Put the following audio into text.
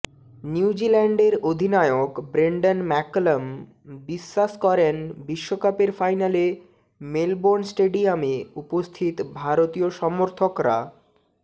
নিউজিল্যান্ডের অধিনায়ক Brendon McCullum বিশ্বাস করেন বিশ্বকাপের ফাইনালে মেলবোর্ন স্টেডিয়ামে উপস্থিত ভারতীয় সমর্থকরা